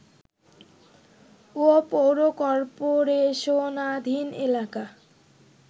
ও পৌর কর্পোরেশনাধীন এলাকা